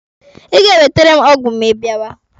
Ị ga-ewetere m ọgwụ ma ị bịawa.